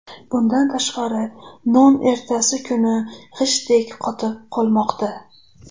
Bundan tashqari, non ertasi kuni g‘ishtdek qotib qolmoqda.